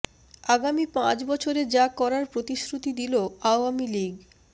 আগামী পাঁচ বছরে যা করার প্রতিশ্রুতি দিল আওয়ামী লীগ